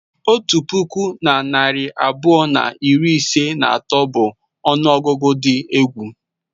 Otu puku na narị abụọ na iri ise na atọ bụ ọnụọgụgụ dị egwu.